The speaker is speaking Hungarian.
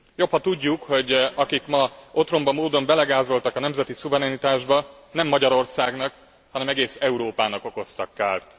Jobb, ha tudjuk, hogy akik ma otromba módon belegázoltak a nemzeti szuverenitásba, nem Magyarországnak, hanem egész Európának okoztak kárt.